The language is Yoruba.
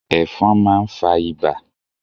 Ẹ̀fọn máa ń fa ibà.